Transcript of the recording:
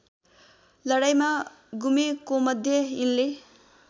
लडाईँँमा गुमेकोमध्ये यिनले